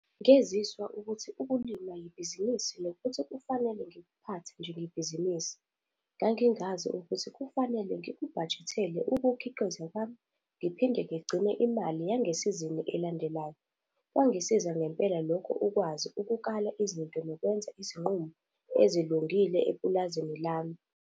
Ngeziswa ukuthi ukulima yibhizinisi nokuthi kufanele ngikuphathe njengebhizinisi. Ngangingazi ukuthi kufanele ngikubhajethela ukukhiqiza kwami ngiphinde ngigcine imali yangesizini elandelayo. Kwangisiza ngempela lokho ukwazi ukukala izinto nokwenza izinqumo ezilungile epulazini lami.